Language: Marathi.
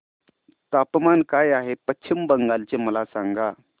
तापमान काय आहे पश्चिम बंगाल चे मला सांगा